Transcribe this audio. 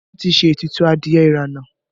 Wọn ti ṣe ètùtù adìẹ ìrànà